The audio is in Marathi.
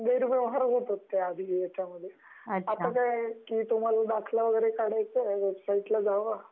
आता तुम्हाला दाखला वैगेरे काढायचा आहे, वेबसाईटला जावा